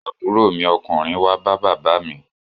Àbúrò mi ọkùnrin wá bá bàbá mi